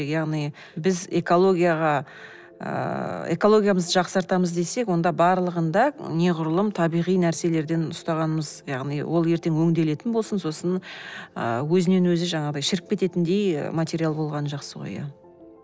яғни біз экологияға ыыы экологиямызды жақсартамыз десек онда барлығын да неғұрлым табиғи нәрселерден ұстағанымыз яғни ол ертен өңделетін болсын ыыы сосын өзінен өзі жаңағыдай шіріп кететіндей материал болғаны жақсы ғой иә